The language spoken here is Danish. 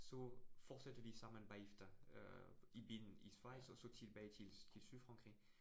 Så fortsatte vi sammen bagefter øh i bilen i Schweiz, og så tilbage til til Sydfrankrig